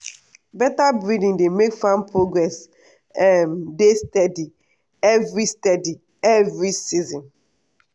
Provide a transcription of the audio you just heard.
better breeding dey make farm progress um dey steady every steady every season.